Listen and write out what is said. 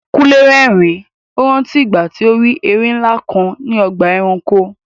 Kúnlé rẹ́rìn-ín, ó rántí ìgbà tí ó rí erin ńlá kan ní ọgbà ẹranko.